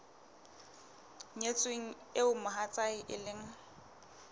nyetsweng eo mohatsae e leng